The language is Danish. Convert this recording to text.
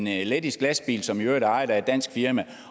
i lettiske lastbiler som i øvrigt er ejet af et dansk firma